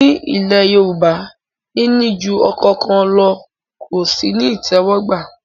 Ní ilẹ̀ Yorùbá, níní ju ọkọ kan lọ ò sí ní ìtẹ́wọ́gbà